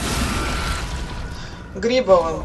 грибовым